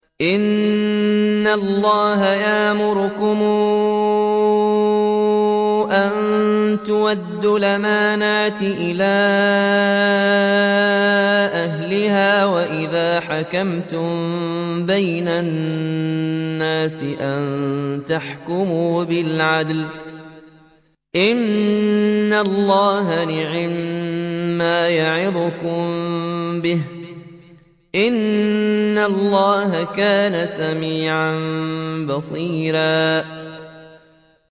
۞ إِنَّ اللَّهَ يَأْمُرُكُمْ أَن تُؤَدُّوا الْأَمَانَاتِ إِلَىٰ أَهْلِهَا وَإِذَا حَكَمْتُم بَيْنَ النَّاسِ أَن تَحْكُمُوا بِالْعَدْلِ ۚ إِنَّ اللَّهَ نِعِمَّا يَعِظُكُم بِهِ ۗ إِنَّ اللَّهَ كَانَ سَمِيعًا بَصِيرًا